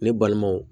Ne balimanw